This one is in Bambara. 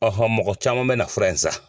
mɔgɔ caman bɛ na fura in san.